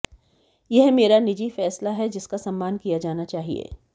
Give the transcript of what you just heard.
यह मेरा निजी फैसला है जिसका सम्मान किया जाना चाहिए